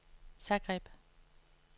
Zagreb